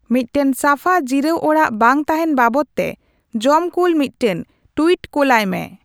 ᱢᱫᱴᱟᱝ ᱥᱟᱯᱷᱟ ᱡᱤᱨᱟᱣ ᱚᱲᱟᱜ ᱵᱟᱝ ᱛᱟᱦᱮᱸᱱ ᱵᱟᱵᱚᱫᱛᱮ ᱡᱚᱢ ᱠᱩᱞ ᱢᱤᱫᱴᱟᱝ ᱴᱩᱭᱤᱴ ᱠᱳᱞᱟᱭ ᱢᱮ